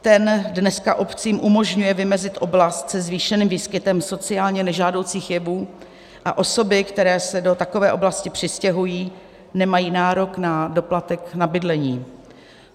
Ten dneska obcím umožňuje vymezit oblast se zvýšeným výskytem sociálně nežádoucích jevů a osoby, které se do takové oblasti přistěhují, nemají nárok na doplatek na bydlení.